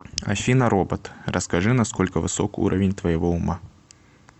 афина робот расскажи на сколько высок уровень твоего ума